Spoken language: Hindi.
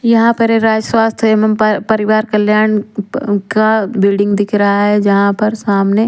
यहां पर ये राज स्वास्थ्य एवं प परिवार कल्याण क का बिल्डिंग दिख रहा है जहां पर सामने--